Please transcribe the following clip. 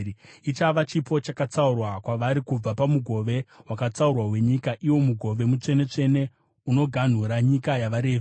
Ichava chipo chakatsaurwa kwavari kubva pamugove wakatsaurwa wenyika, iwo mugove mutsvene-tsvene, unoganhura nyika yavaRevhi.